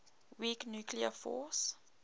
weak nuclear force